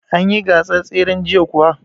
An yi gasar tseren jiya kuwa?